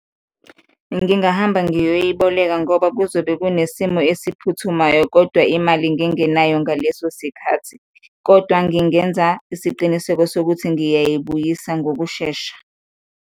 Ngingahamba ngiyoyiboleka ngoba kuzobe kunesimo esiphuthumayo kodwa imali ngingenayo ngaleso sikhathi kodwa ngingenza isiqiniseko sokuthi ngiyayibuyisa ngokushesha.